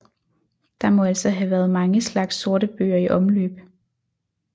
Der må altså have været mange slags sortebøger i omløb